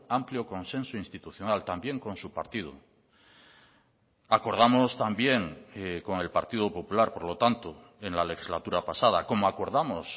amplio consenso institucional también con su partido acordamos también con el partido popular por lo tanto en la legislatura pasada como acordamos